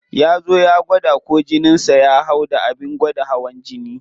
Ya zo ya gwada ko jinin sa ya hau da abin gwada hawan jini.